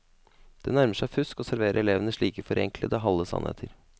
Det nærmer seg fusk å servere elevene slike forenklede, halve sannheter.